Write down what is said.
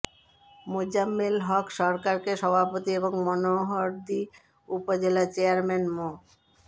মোজাম্মেল হক সরকারকে সভাপতি এবং মনোহরদী উপজেলা চেয়ারম্যান মো